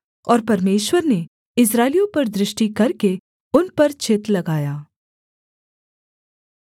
और परमेश्वर ने इस्राएलियों पर दृष्टि करके उन पर चित्त लगाया